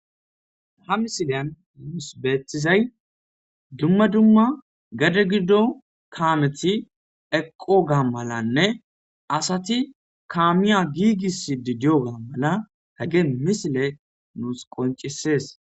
ha misileyan muus beetizay dumma dumma gade gido kaameti eqqo gaa malanne asati kaamiya giigis di diyo gaa mala hegen misile nuus qoncisees